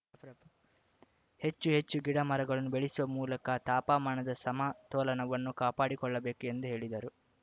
ಹೆಚ್ಚು ಹೆಚ್ಚು ಗಿಡ ಮರಗಳನ್ನು ಬೆಳೆಸುವ ಮೂಲಕ ತಾಪಮಾನದ ಸಮತೋಲನವನ್ನು ಕಾಪಾಡಿಕೊಳ್ಳಬೇಕು ಎಂದು ಹೇಳಿದರು